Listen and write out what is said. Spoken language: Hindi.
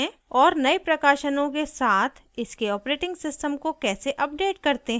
* और नए प्रकाशनों के साथ इसके operating system को कैसे अपडेट करते हैं